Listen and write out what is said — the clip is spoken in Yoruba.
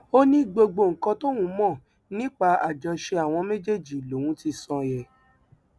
ó ní gbogbo nǹkan tóun mọ nípa àjọṣe àwọn méjèèjì lòun ti sọ yẹn